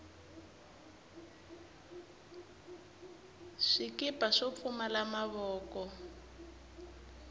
swikipa swo pfumala mavoko